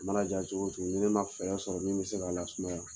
A mana ja cogo ni ne man fɛɛrɛ sɔrɔ ni min bɛ se k'a lasumaya.